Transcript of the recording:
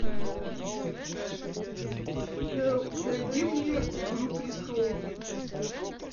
найди мне игру престолов